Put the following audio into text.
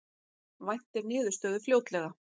Væntir niðurstöðu fljótlega